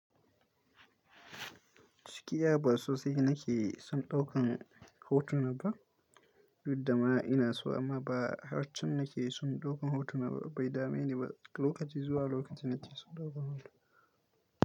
Ciki ya baso sai nake son ɗaukan hotuna ba, juddama ina so amma ba har can nake son ɗaukan hotuna ba. Bai dame ni ba, lokaci zuwa lokaci nake son ɗaukan hoto.